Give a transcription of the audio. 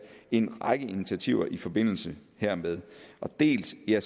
en række initiativer i forbindelse hermed dels er